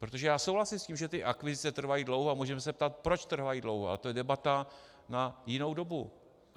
Protože já souhlasím s tím, že ty akvizice trvají dlouho, a můžeme se ptát, proč trvají dlouho, a to je debata na jinou dobu.